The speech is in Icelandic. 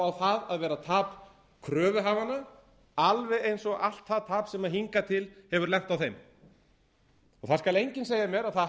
á það að vera tap kröfuhafanna alveg eins og allt það tap sem hingað til hefur lent á þeim það skal enginn segja mér að það